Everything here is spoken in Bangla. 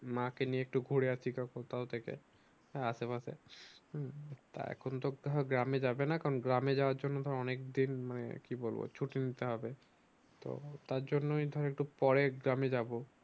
মাকে নিয়ে একটু ঘুরে আসি তখন কোথাও থেকে আসেপাশে হম তা এখন তো আর গ্রামে যাবেনা কারণ গ্রামে যাওয়ার জন্য ধর অনেক দিন মানে কি বলবো মানে ছুটি নিতে হবে তো তার জন্যই ধর পরে গ্রামে যাব